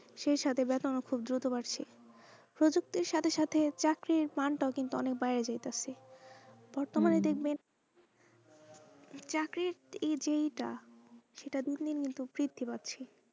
সেই সাথে খুব দ্রুত বাড়ছে প্রযুক্তির সাথে সাথে চাকরির মানটাও কিন্তু অনেক বাইরা যাইতাছে তাকে বর্তমানে দেখবেন চাকরির এই যেই টা সেটা দিন দিন কিন্তু বৃদ্ধি বাড়ছে।